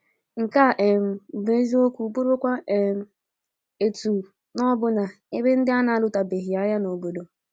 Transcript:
Nke a um bụ eziokwu bụrụkwa um otu na ọbụna ebe ndị a na-alụtụbeghị agha obodo.